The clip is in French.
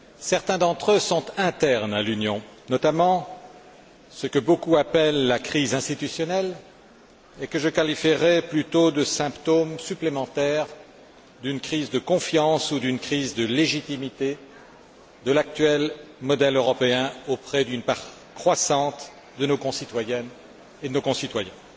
Certains d'entre eux sont internes à l'Union, notamment ce que beaucoup appellent la crise institutionnelle, et que je qualifierais plutôt de symptôme supplémentaire d'une crise de confiance ou d'une crise de légitimité de l'actuel modèle européen auprès d'une part croissante de nos concitoyennes et de nos concitoyens.